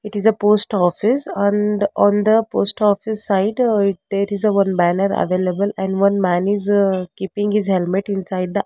it is a post office and on the post office site there is a one banner available and one man is keeping his helmet inside the--